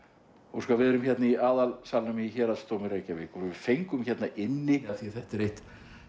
óskar við erum hérna í aðalsalnum í Héraðsdómi Reykjavíkur og við fengum hérna inni af því þetta er eitt